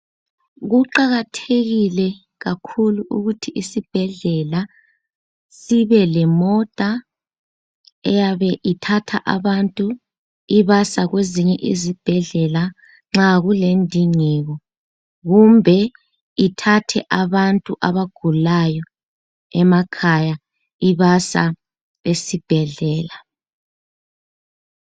Kuqakathekile kakhulu ukuthi isibhedlela sibelemota eyabe ithatha abantu ibasa kwezinye izibhedlela nxa kulendingeko kumbe ithathe abantu abagulayo emakhaya ibasa esibhedlela.